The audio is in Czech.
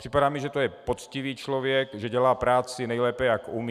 Připadá mi, že to je poctivý člověk, že dělá práci nejlépe, jak umí.